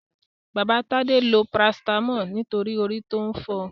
Baba Tade lo parasítámọ̀ nítorí orí ń fọ.